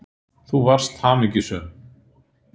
Þú varst hamingjusöm.